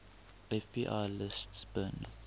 fbi lists bin